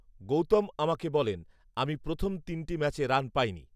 গৌতম আমাকে বলেন, আমি প্রথম তিনটি ম্যাচে রান পাইনি